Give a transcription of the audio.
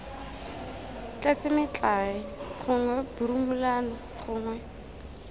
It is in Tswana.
tletse metlae gongwe borumolano gongwe